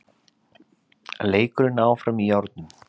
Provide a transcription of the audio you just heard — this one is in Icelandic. Leikurinn er áfram í járnum